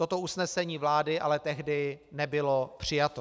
Toto usnesení vlády ale tehdy nebylo přijato.